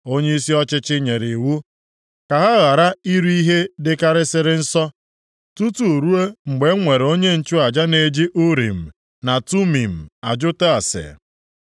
Onyeisi ọchịchị nyere iwu ka ha ghara iri ihe dịkarịsịrị nsọ tutu ruo mgbe e nwere onye nchụaja na-eji Urim na Tumim ajụta ase.